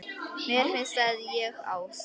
Mér finnst að ég, Ási